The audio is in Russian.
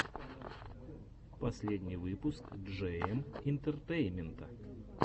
последний выпуск джейэм интертеймента